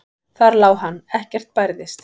Þar lá hann, ekkert bærðist.